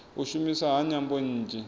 u shumiswa ha nyambo nnzhi